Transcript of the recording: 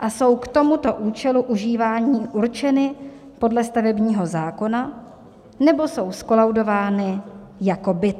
a jsou k tomuto účelu užívání určeny podle stavebního zákona nebo jsou zkolaudovány jako byt."